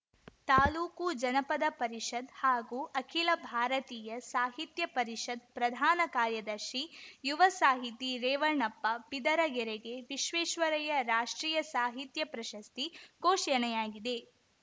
ತಾಲೂಕು ಜನಪದ ಪರಿಷತ್‌ ಹಾಗೂ ಅಖಿಲ ಭಾರತೀಯ ಸಾಹಿತ್ಯ ಪರಿಷತ್‌ ಪ್ರಧಾನ ಕಾರ್ಯದರ್ಶಿ ಯುವ ಸಾಹಿತಿ ರೇವಣಪ್ಪ ಬಿದರಗೆರೆಗೆ ವಿಶ್ವೇಶ್ವರಯ್ಯ ರಾಷ್ಟ್ರೀಯ ಸಾಹಿತ್ಯ ಪ್ರಶಸ್ತಿ ಘೋಷಣೆಯಾಗಿದೆ